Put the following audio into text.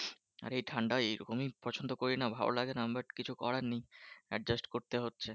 আর এ ঠান্ডা এরকমই পছন্দ করি না ভালো লাগে না but কিছু করার নেই adjust করতে হচ্ছে।